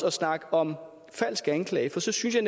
at snakke om falsk anklage jeg